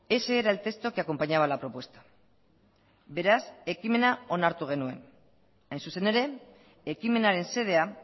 ese era el texto que acompañaba la propuesta beraz ekimena onartu genuen hain zuzen ere ekimenaren xedea